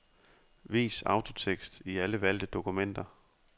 Vis autotekst i alle valgte dokumenter.